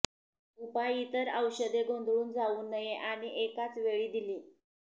उपाय इतर औषधे गोंधळून जाऊ नये आणि एकाच वेळी दिली